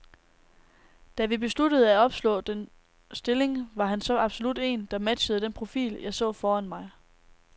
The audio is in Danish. Da vi besluttede at opslå denne stilling, var han så absolut en, der matchede den profil, jeg så foran mig.